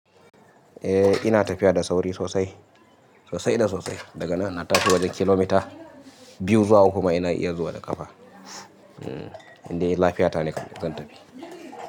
Eh ina tafiya da sauri sosai, sosai da sosai. Daga nan na tafi wajen kilomita biyu zuwa kuma ina iya zuwa da ƙafa. Inda lafiyata ne zan tafi.